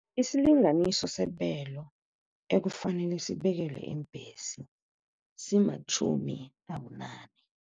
Isilinganiso sebelo ekufanele sibekelwe iimbhesi simatjhumi abunane.